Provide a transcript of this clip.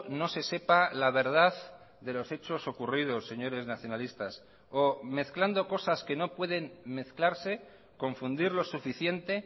no se sepa la verdad de los hechos ocurridos señores nacionalistas o mezclando cosas que no pueden mezclarse confundirlo suficiente